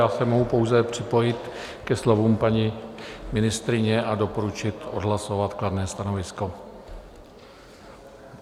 Já se mohu pouze připojit ke slovům paní ministryně a doporučit odhlasovat kladné stanovisko.